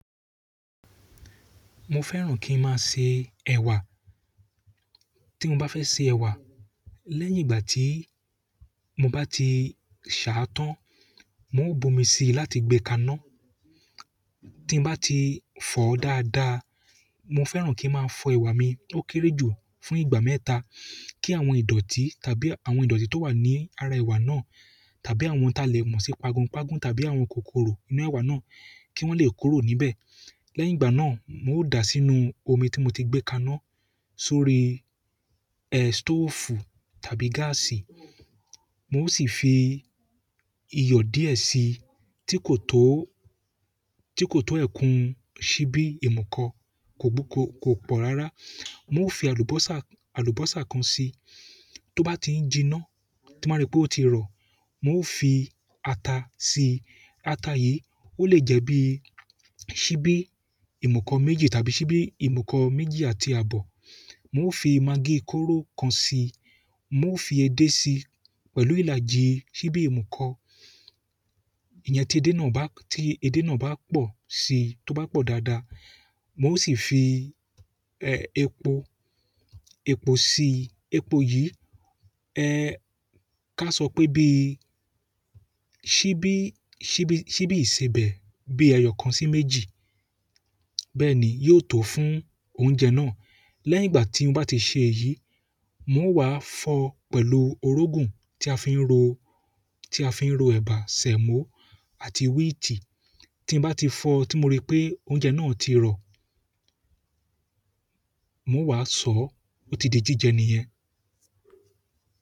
Mo fẹ́ràn kí n máa se ẹ̀wà. Tí mo bá fẹ́ se ẹ̀wà, lẹ́yìn ìgbà tí mo bá ti ṣà tán, n ó bu omi síi láti gbe kaná. Tí n bá ti fọ́ dáadáa, mo fẹ́ràn kí n máa fọ ẹ̀wà mi ó kéré jù fún ìgbà mẹ́ta kí àwọn ìdọ̀tí tàbí àwọn ìdọ̀tí tó wà ní ara ẹ̀wà náà tàbí àwọn ta lè mú sí pagùnpagùn tàbí àwọn kòkòrò inú ẹ̀wà náà kí wọ́n lè kuró níbẹ̀. Lẹ́yìn ìgbà náà, n ó da sínú omi tí mo ti gbé kaná sórí, ẹ́, stoofu tàbí gáàsì. N ó sì fi iyọ̀ díẹ̀ síi tí kò tó, tí kò tó ẹ̀kún ṣíbí ìmùkọ, kò gbú, kò, kò pọ̀ rárá. Mo ó fi àlùbọ́sà, àlùbọ́sà kan síi. Tó bá ti ń jiná tí mo bá rí pé ó ti rọ̀, n ó fi ata síi. Ata yìí ó lè jẹ́ bí i ṣíbí ìmùkọ méjì tàbí ṣíbí ìmùkọ méjì àti àbọ̀. N ó fi magí kóró kan síi. Mo fi edé síi pẹ̀lú ìlàjì ṣíbí ìmùkọ. Ìyẹn tí edé náà bá, tí edé náà bá pọ̀ síí, tó bá pọ̀ dáadáa. Mo ó sì fi, ẹ́, epo, epo síi. Epo yìí, ẹ ká sọ pé bí i ṣíbí, ṣíbí, ṣíbí ìsebẹ̀ bí ẹyọ̀ kan sí méjì. Bẹ́ẹ̀ni yo to fún oúnjẹ náà lẹ́yìn ìgbà tí n bá ti ṣe èyí, mo wá fọ̀ ọ́ pẹ̀lú orógun tí a fi ń ro, tí a fi ń ro ẹ̀bà, sẹ̀mọ́ àti wíìtì. Tí n bá ti fọ̀ ọ́ tí mo rí pé oúnjẹ náà ti rọ̀, mo wá sọ̀ ọ́, ó ti di jíjẹ nìyẹn.